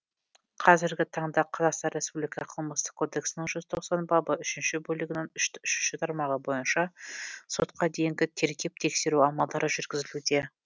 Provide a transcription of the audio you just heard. қазіргі таңда қазақстан республика қылмыстық кодексінің жүз тоқсан бабы үшінші бөлігінің үшінші тармағы бойынша сотқа дейінгі тергеп тексеру амалдары жүргізілуде